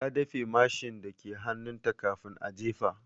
Ta dafe mashin dake hannunta kafin a jefa.